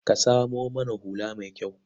Ka samo mana hula mai kyau.